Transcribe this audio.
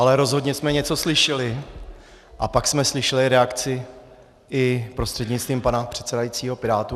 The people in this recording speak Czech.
Ale rozhodně jsme něco slyšeli a pak jsme slyšeli reakci prostřednictvím pana předsedajícího i pirátů.